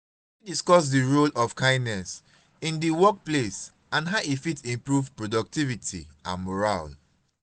you fit discuss di role of kindness in di workplace and how e fit improve productivity and morale.